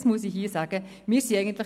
Das muss ich hier betonen.